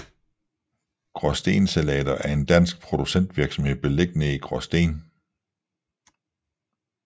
Graasten Salater er en dansk producentvirksomhed beliggende i Gråsten